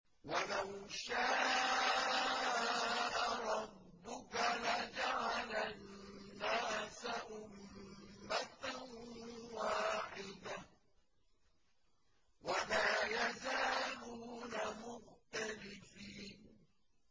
وَلَوْ شَاءَ رَبُّكَ لَجَعَلَ النَّاسَ أُمَّةً وَاحِدَةً ۖ وَلَا يَزَالُونَ مُخْتَلِفِينَ